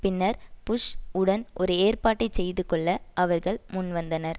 பின்னர் புஷ் உடன் ஒரு ஏற்பாட்டைச் செய்து கொள்ள அவர்கள் முன் வந்தனர்